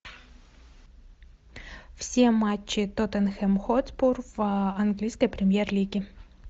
все матчи тоттенхэм хотспур английской премьер лиги